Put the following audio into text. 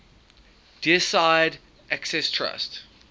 deeside access trust